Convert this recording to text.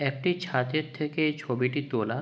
একটি ছাতের থেকে এই ছবিটি তোলা।